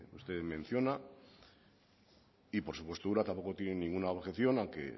usted me menciona y por supuesto ura tampoco tiene ninguna objeción a que